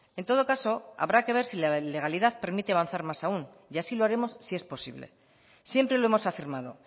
en todo caso habrá que ver si la legalidad permite avanzar más aun y así lo haremos si es posible siempre lo hemos afirmado